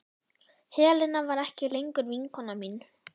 Helena var ekki lengur vinkona mín.